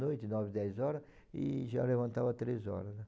oito, nove, dez horas, e já levantava três horas, né.